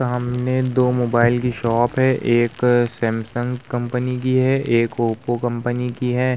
सामने दो मोबाइल की शॉप है एक सैमसंग कंपनी की है एक ओप्पो कंपनी की है।